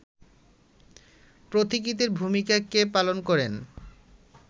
পথিকৃতের ভুমিকা কে পালন করেন